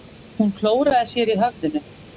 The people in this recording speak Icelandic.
Hún klóraði sér í höfðinu.